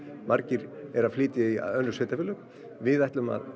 margir eru að flytja í önnur sveitarfélög við ætlum að